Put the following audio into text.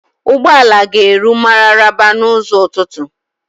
Ụgbọala ga-eru Mararaba n'ụzọ ụtụtụ.